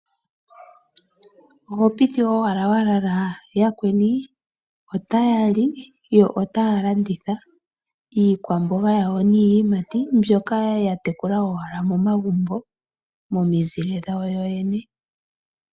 Oho piti owala wa lala? Yakweni otaya li yo otaya landitha iikwamboga yawo niiyimati mbyoka yatekula owala momagumbo momizile dhawo yene.